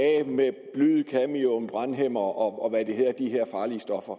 af med bly cadmium brandhæmmere og hvad de her farlige stoffer